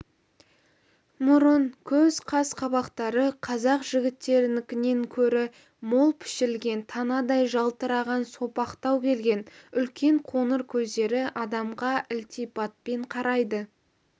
мұрын көз қас-қабақтары қазақ жігіттерінікінен көрі мол пішілген танадай жалтыраған сопақтау келген үлкен қоңыр көздері адамға ілтипатпен қарайды